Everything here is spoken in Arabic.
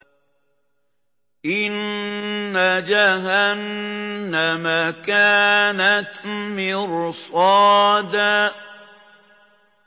إِنَّ جَهَنَّمَ كَانَتْ مِرْصَادًا